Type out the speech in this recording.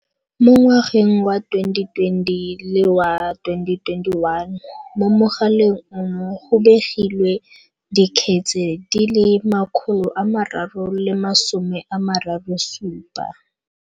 Mo ngwageng wa 2020 le wa 2021, mo mogaleng ono go begilwe dikgetse di le 337.